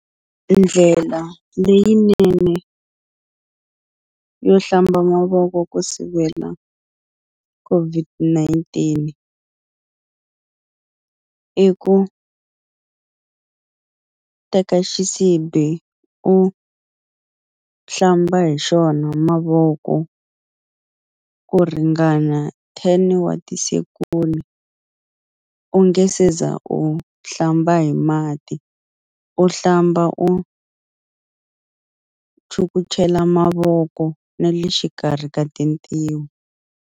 Ndlela leyinene yo hlamba mavoko ku sivela COVID-19 i ku u teka xisibi u hlamba hi xona mavoko ku ringana ten wa ti u nge se za u hlamba hi mati u hlamba u chukuchela mavoko na le xikarhi ka tintiho.